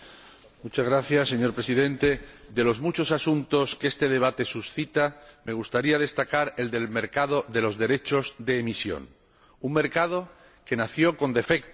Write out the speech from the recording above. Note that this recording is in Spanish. Señor Presidente, de los muchos asuntos que este debate suscita me gustaría destacar el del mercado de los derechos de emisión, un mercado que nació con defectos, ciertamente.